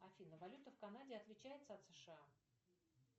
афина валюта в канаде отличается от сша